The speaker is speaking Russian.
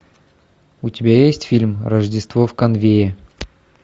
у тебя есть фильм рождество в конвее